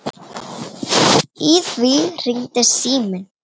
Í því hringdi síminn.